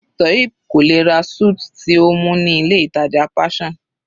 Toheeb kò lè ra suit tí ó mú ní ilé ìtàjà Passion.